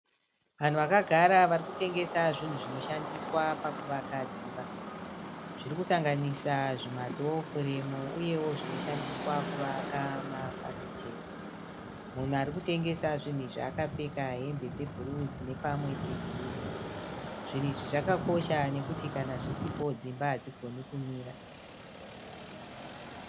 Vanhu vakagara varikutengesa zvinhu zvinoshandiswa pakuvaka dzimba. Zvirikusanganisa zvima dhoo furemu uyewo zvinoshandiswa kuvaka mafafitera. Munhu arikutengesa zvinhu izvi akapfeka hembe dze bhuruu dzine pamwe pe girinhi. Zvinhu izvi zvakakosha nokuti kana zvisipo dzimba hadzigoni kumira.